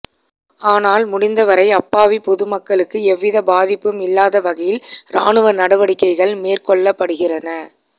ஆனால் முடிந்தவரை அப்பாவி பொதுமக்களுக்கு எவ்வித பாதிப்பும் இல்லாத வகையில் ராணுவ நடவடிக்கைகள் மேற்கொள்ளப்படுகின்றன